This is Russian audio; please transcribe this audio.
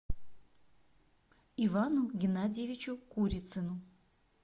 ивану геннадьевичу курицыну